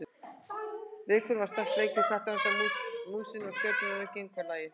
Leikurinn varð strax leikur kattarins að músinni og Stjörnustúlkur gengu á lagið.